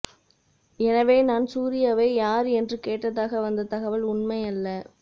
எனவே நான் சூர்யாவை யார் என்று கேட்டதாக வந்த தகவல் உண்மையல்ல